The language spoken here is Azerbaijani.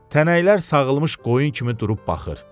Tənəklər sağılmış qoyun kimi durub baxır.